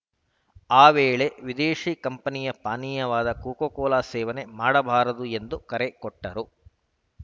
ಆ ವೇಳೆ ವಿದೇಶಿ ಕಂಪನಿಯ ಪಾನೀಯವಾದ ಕೋಕಾಕೋಲಾ ಸೇವನೆ ಮಾಡಬಾರದು ಎಂದು ಕರೆ ಕೊಟ್ಟರು